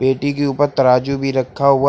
पेटी के ऊपर तराजू भी रखा हुआ है।